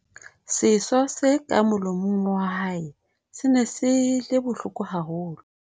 seso se ka molomong wa hae se ne se le bohloko haholo